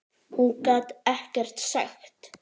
Hún gat ekkert sagt.